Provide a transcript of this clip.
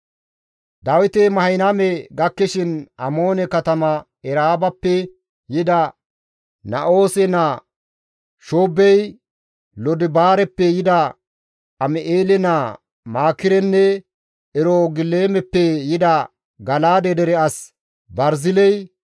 Dawiti Mahanayme gakkishin Amoone katama Eraabappe yida Na7oose naa Shoobbey, Lodibaareppe yida Am7eele naa Maakirenne Erogilimeppe yida Gala7aade dere as Barziley,